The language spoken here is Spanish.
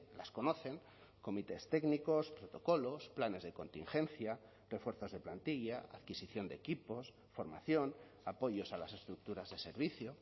las conocen comités técnicos protocolos planes de contingencia refuerzos de plantilla adquisición de equipos formación apoyos a las estructuras de servicio